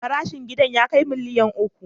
Farashin gidan ya kai miliyan uku.